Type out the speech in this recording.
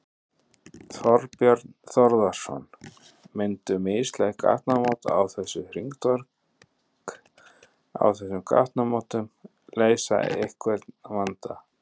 Þorbjörn Þórðarson: Myndu mislæg gatnamót á þessu hringtorg, á þessum gatnamótum leysa einhvern vanda?